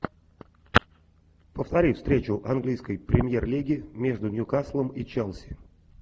повтори встречу английской премьер лиги между ньюкаслом и челси